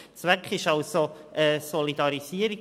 Zweck ist also eine Solidarisierung.